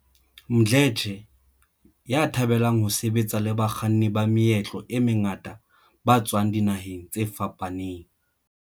Mdletshe, ya thabelang ho sebetsa le bakganni ba meetlo e mengata ba tswang dinaheng tse fapaneng.